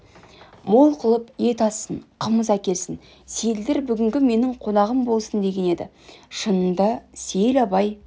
мол қылып ет ассын қымыз әкелсін сейілдер бүгінгі менің қонағым болсын деген еді шынында сейіл абай